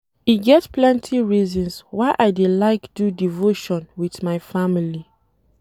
E get plenty reasons why I dey like do devotion wit my family.